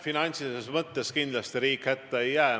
Finantsilises mõttes kindlasti riik hätta ei jää.